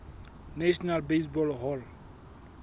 national baseball hall